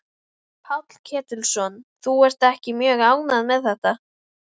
Páll Ketilsson: Þú ert ekki mjög ánægð með þetta?